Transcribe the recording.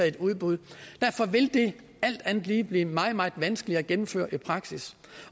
et udbud derfor vil det alt andet lige blive meget meget vanskeligt at gennemføre i praksis